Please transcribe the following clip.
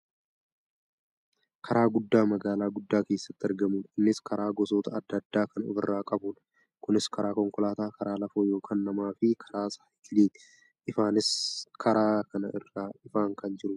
karaa guddaa magaalaa guddaa keessatti argamudha innis karaa gosoota adda addaa kan of irraa qabudha. kunis karaa konkolaataa, karaa lafoo yookaan namaafi karaa saayikiliiti. ifaanis karaa kana irraa ifaa kan jirudha.